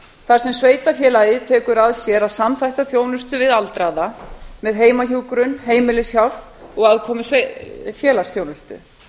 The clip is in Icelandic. þar sem sveitarfélagið tekur að sér að samþætta þjónustu við aldraða með heimahjúkrun heimilishjálp og aðkomu félagsþjónustu